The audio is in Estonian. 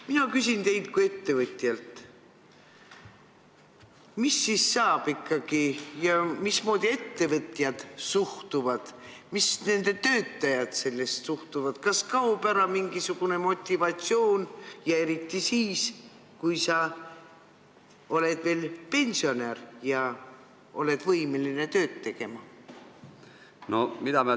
Mina küsin teilt kui ettevõtjalt: mis siis ikkagi saab ning mismoodi ettevõtjad ja töötajad sellesse suhtuvad, kas kaob ära mingisugune motivatsioon ja eriti siis, kui sa oled veel pensionär ja oled võimeline tööd tegema?